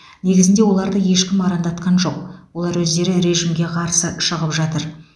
негізінде оларды ешкім арандатқан жоқ олар өздері режимге қарсы шығып жатыр